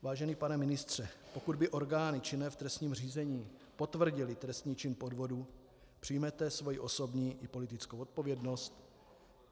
Vážený pane ministře, pokud by orgány činné v trestním řízení potvrdily trestný čin podvodu, přijmete svoji osobní i politickou odpovědnost?